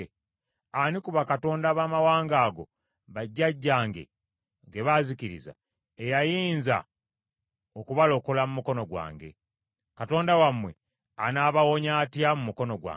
Ani ku bakatonda abamawanga ago bajjajjange ge baazikiriza, eyayinza okubalokola mu mukono gwange? Katonda wammwe anaabawonya atya mu mukono gwange?